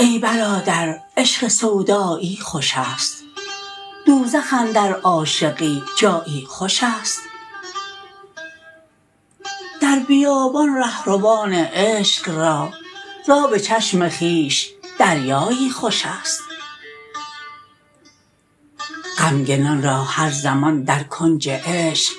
ای برادر عشق سودایی خوشست دوزخ اندر عاشقی جایی خوشست در بیابان رهروان عشق را زاب چشم خویش دریایی خوشست غمگنان را هر زمان در کنج عشق